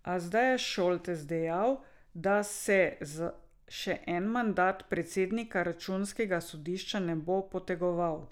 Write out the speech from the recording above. A zdaj je Šoltes dejal, da se za še en mandat predsednika računskega sodišča ne bo potegoval.